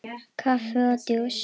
Kaffi og djús.